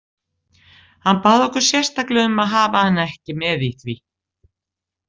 Hann bað okkur sérstaklega um að hafa hana ekki með í því.